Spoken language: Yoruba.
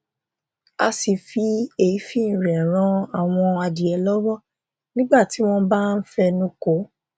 a sì fi èéfín rẹ ràn àwọn adìẹ lọwọ nígbà tí wọn bá ń fẹnukò